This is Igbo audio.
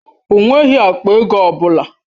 O nweghị akpa ego ọ bụla.